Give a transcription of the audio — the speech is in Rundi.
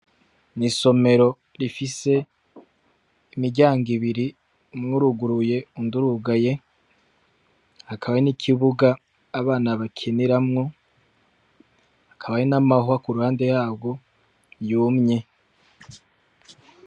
Isomero rifise imiryango ibiri, umwe uruguruye uwundi urugaye, hakaba n'ikibuga abana bakiniramwo, hakaba n'amahwa kuruhande yarwo yumye.